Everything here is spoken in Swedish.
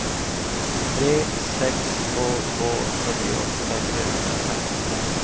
tre sex två två fyrtioåtta trehundrafemton